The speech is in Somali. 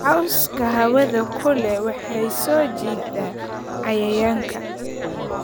Cawska hawada kuleh waxay soo jiitaa cayayaanka.